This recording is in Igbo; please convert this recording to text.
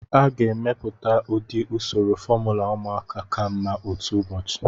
A ga-emepụta ụdị usoro fomula ụmụaka ka mma otu ụbọchị.